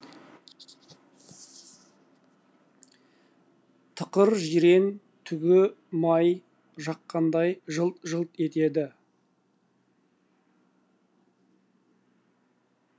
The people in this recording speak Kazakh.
тықыр жирен түгі май жаққандай жылт жылт етеді